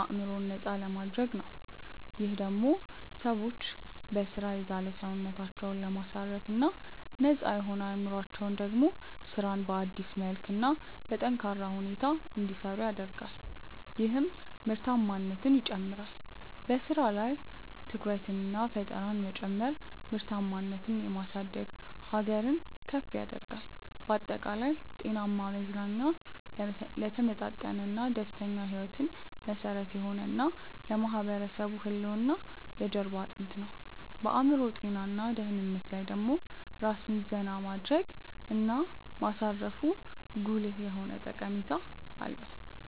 አዕምሮን ነፃ ለማድረግ ነው። ይህም ደሞ ሰዎች በሥራ የዛለ ሰውነታቸውን ለማሳረፍ እና ነፃ የሆነው አዕምሮአቸው ደሞ ስራን በአዲስ መልክ እና በጠነካረ ሁኔታ እንዲሰሩ ያደርጋል ይህም ምርታማነትን ይጨምራል። በሥራ ላይም ትኩረትንና ፈጠራን መጨመር ምርታማነትን የማሳደግ ሀገርን ከፍ ያደርጋል። ባጠቃላይ፣ ጤናማ መዝናኛ ለተመጣጠነና ደስተኛ ሕይወት መሠረት የሆነ እና ለማህበረሰብ ህልውና የጀርባ አጥንት ነው። በአዕምሮ ጤና እና ደህንነት ላይ ደሞ ራስን ዜና ማድረግ እና ማሳረፉ ጉልህ የሆነ ጠቀሜታ አለው።